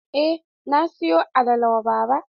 Eh, na siyo alala wa baba.